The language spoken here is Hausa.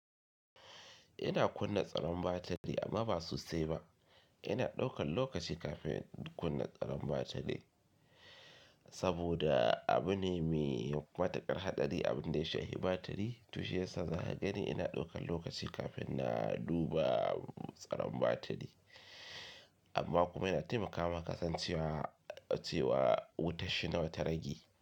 Ina kunna tsaron batiri amma ba sosai ba. Ina ɗaukan lokaci kafin in kunna tsaron batiri, saboda abu ne me matuƙar hatsari abin da ya shafi batiri. To shiyasa za ka gani ina ɗaukan lokaci kafin na duba tsaron batiri. Amma kuma yana taimakawa kasancewa cewa wutar shi nawa ta rage.